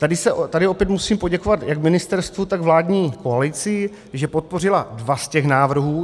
Tady opět musím poděkovat jak ministerstvu, tak vládní koalici, že podpořila dva z těch návrhů.